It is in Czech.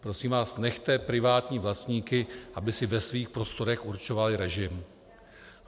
Prosím vás, nechte privátní vlastníky, aby si ve svých prostorech určovali režim.